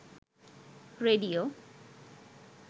radio